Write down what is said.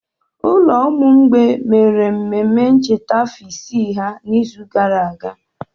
Ụlọ ụmụ mgbei mere omume ncheta afọ ise ha n'izu gara aga.